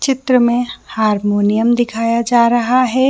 चित्र में हारमोनियम दिखाया जा रहा है।